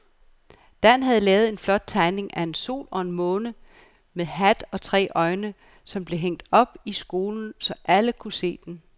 Dan havde lavet en flot tegning af en sol og en måne med hat og tre øjne, som blev hængt op i skolen, så alle kunne se den.